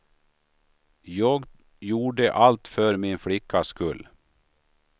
Jag gjorde allt för min flickas skull.